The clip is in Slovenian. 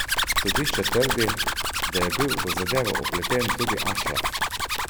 Sodišče trdi, da je bil v zadevo vpleten tudi Ašraf.